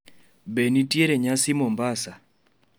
be nitiere nyasi mombasa